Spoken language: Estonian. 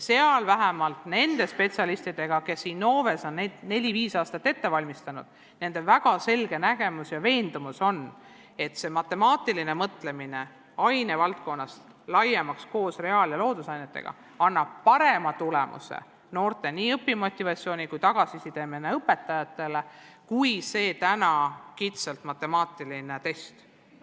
Vähemalt nendel spetsialistidel, kes on Innoves neli-viis aastat seda üleminekut ette valmistanud, on väga selge nägemus ja veendumus, et matemaatiline mõtlemine läheks ainevaldkonnas koos reaal- ja loodusainetega laiemaks ning see annaks parema tulemuse – nii noorte õpimotivatsiooni kui ka õpetajate saadavat tagasisidet silmas pidades – kui tänane kitsalt matemaatiline test.